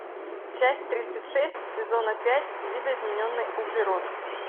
часть тридцать шесть сезона пять видоизмененный углерод